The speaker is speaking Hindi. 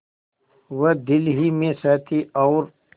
वह दिल ही में सहती और